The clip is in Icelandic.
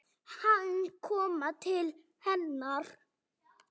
Hann kom til hennar.